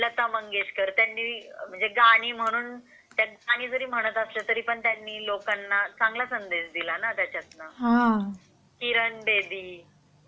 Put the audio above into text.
लता मंगेशकर त्यांनी म्हणजे गाणी म्हणून म्हणजे गाणी म्हणून जरी म्हटलं तरी त्यांनी लोकांना चांगला संदेश दिला ना त्याच्यातून.किरण बेदी म्हणजे